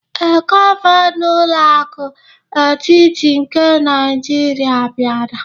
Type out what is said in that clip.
Ee, gọvanọ ụlọ akụ etiti nke Naijiria bịara.